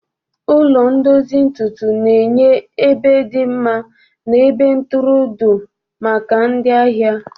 Ụlọ ndozi ntutu na-enye ebe dị mma na ebe ntụrụndụ maka ndị ahịa.